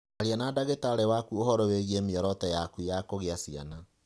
Aria na ndagĩtarĩ waku ũhoro wĩgiĩ mĩoroto yaku ya kũgĩa ciana.